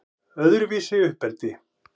Öðruvísi uppeldi